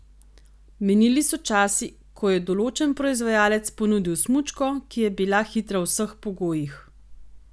Minili so časi, ko je določen proizvajalec ponudil smučko, ki je bila hitra v vseh pogojih.